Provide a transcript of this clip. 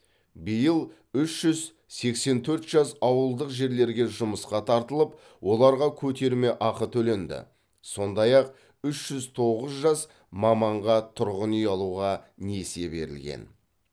биыл үш жүз сексен төрт жас ауылдық жерлерге жұмысқа тартылып оларға көтерме ақы төленді сондай ақ үш жүз тоғыз жас маманға тұрғын үй алуға несие берілген